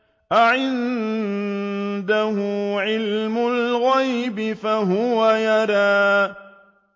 أَعِندَهُ عِلْمُ الْغَيْبِ فَهُوَ يَرَىٰ